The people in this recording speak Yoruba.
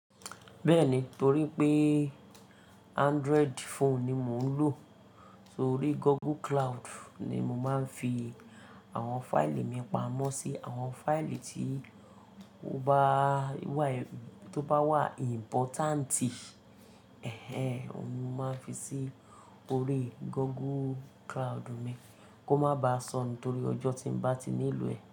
Bẹ́ẹ̀ni, torí pé Android phone ni mò ń lò, torí Google Cloud ni mo máa ń fi àwọn fáìlì mi pamọ́ sí àwọn fáìlì tí ó bá wà, tó bá wà importanti, ẹh ẹh, òun ni mo máa ń fi sí orí Google Cloud mi kó má baà sọnù torí ọjọ́ tí ń bá ti nílò ẹ̀